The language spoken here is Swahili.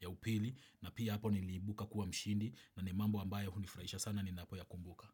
ya upili na pia hapo niliibuka kuwa mshindi na ni mambo ambayo hunifurahisha sana ninapo yakumbuka.